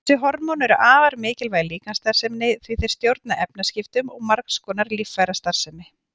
Þessi hormón eru afar mikilvæg líkamsstarfseminni því þeir stjórna efnaskiptum og margs konar líffærastarfsemi.